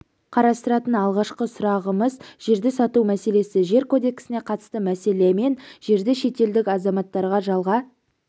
қарастыратын алғашқы сұрағымыз жерді сату мәселесі жер кодексіне қатысты мәселе мен жерді шетелдік азаматтарға жалға